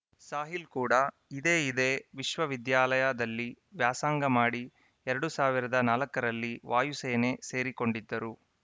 ಸಾಹಿಲ್‌ ಕೂಡ ಇದೇ ಇದೇ ವಿಶ್ವವಿದ್ಯಾಲಯದಲ್ಲಿ ವ್ಯಾಸಂಗ ಮಾಡಿ ಎರಡ್ ಸಾವಿರದ ನಾಲ್ಕರಲ್ಲಿ ವಾಯುಸೇನೆ ಸೇರಿಕೊಂಡಿದ್ದರು